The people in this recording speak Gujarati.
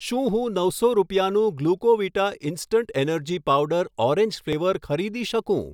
શું હું નવસો રૂપિયાનું Glucovita instant energy powder orange flavour ખરીદી શકું